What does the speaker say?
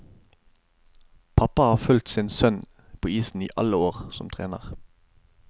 Pappa har fulgt sin sønn på isen i alle år, som trener.